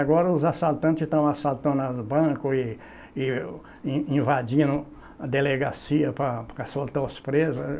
Agora os assaltantes estão assaltando aos bancos e e e invadindo a delegacia para para soltar os presos.